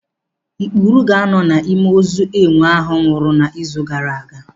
Ikpuru ga-anọ n'ime ozu enwe ahụ nwụrụ n'izu gaara aga.